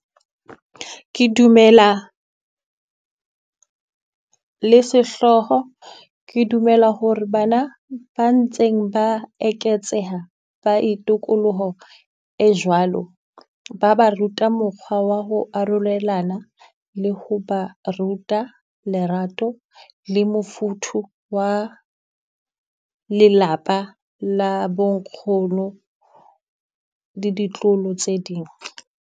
Ke dumela le sehlooho, ke dumela hore bana ba ntseng ba eketseha ba itokoloho e jwalo. Ba ba ruta mokgwa wa ho arolelana, le ho ba ruta lerato le mofuthu wa lelapa la bo nkgono le ditloholo tse ding.